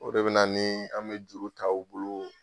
O de bɛ ni an bɛ juru ta u bolo